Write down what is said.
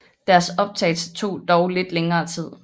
Deres optagelse tog dog lidt længere tid